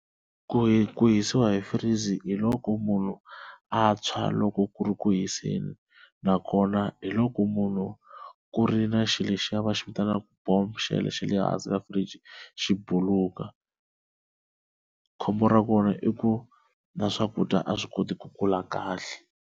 Ku ku hisiwa hi freeze hi loko munhu a tshwa loko ku ri ku hiseni nakona, hi loko munhu ku ri na xilo lexiya va xi vitanaka bombo xa xa lehansi ka fridge xi buluka khombo ra kona i ku na swakudya a swi koti ku kula kahle.